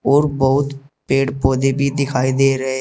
और बहुत पेड़ पौधे भी दिखाई दे रहे हैं।